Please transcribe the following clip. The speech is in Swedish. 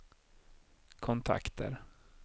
kontakter